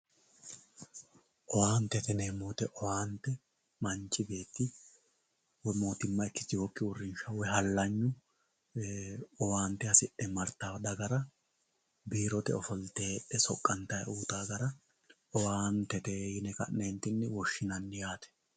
Owaantete yinemowoyite owaante manchi beet woyi mootima ikitewoki uurinsha woyi halaynu owaante hasidhe martawo dagara biirote ofolte heedhe soqantayi uyitawo gara owaantete yine kanenitini woshinani yaate